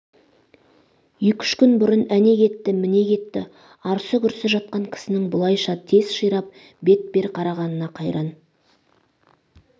екі-үш күн бұрын әне кетті міне кетті арсы-күрсі жатқан кісінің бұлайша тез ширап бет бер қарағанына қайран